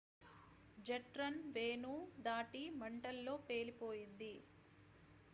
jet runway దాటి మంటల్లో పేలిపోయింది